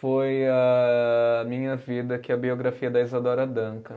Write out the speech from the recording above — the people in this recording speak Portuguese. foi a minha vida, que é a biografia da Isadora Duncan.